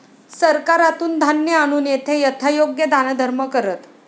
सरकारातून धान्य आणून येथे यथायोग्य दानधर्म करत